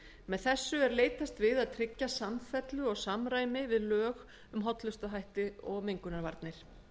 með þessu er leitast við að tryggja samfellu og samræmi við lög um hollustuhætti og mengunarvarnir